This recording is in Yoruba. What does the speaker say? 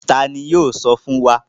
Tani yoo sọ fun wa?